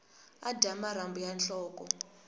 a dya marhambu ya nhloko